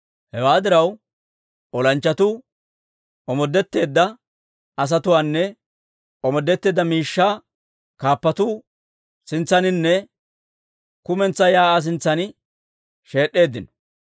Hewaa diraw, olanchchatuu omoodetteedda asatuwaanne omoodetteedda miishshaa kaappatuu sintsaaninne kumentsaa shiik'uwaa sintsan sheed'd'eeddino.